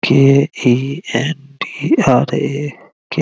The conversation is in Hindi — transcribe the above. के इ एन डी और ये क्या --